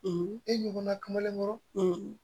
e ɲɔgɔnna kumalen kɔrɔ